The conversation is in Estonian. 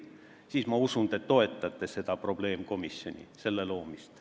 Siis ma usun, et te toetate selle probleemkomisjoni loomist.